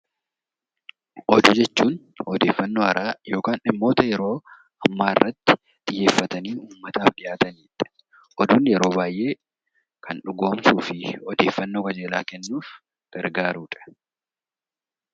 Oduu jechuun odeeffaannoo haaraa yookaan dhimmoota yeroo ammaa irratti xiyyeeffatanii ummataaf dhiyaatanii dha. Oduun yeroo baay'ee kan dhugoomsuu fi odeeffaannoo qajeelaa kennuuf gargaaru dha.